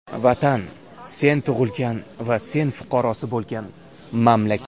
Vatan - sen tug‘ilgan va sen fuqarosi bo‘lgan mamlakat.